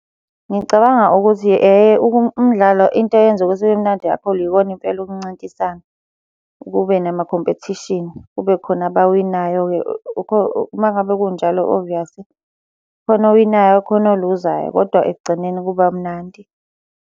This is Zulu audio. Ngicabanga ukuthi, eh-he umdlalo into eyenzeka ube mnandi kakhulu yikona impela ukuncintisana, kube nama-competition. Kube khona abawinayo-ke uma ngabe kunjalo oviyasi khona owinayo, khona oluzayo, kodwa ekugcineni kuba mnandi.